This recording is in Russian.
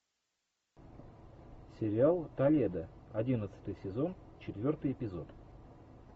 сериал толедо одиннадцатый сезон четвертый эпизод